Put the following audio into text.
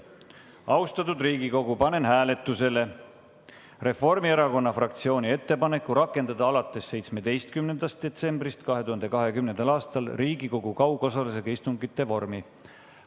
Austatud Riigikogu, panen hääletusele Reformierakonna fraktsiooni ettepaneku rakendada alates 17. detsembrist 2020. aastal Riigikogu kaugosalusega istungite vormi.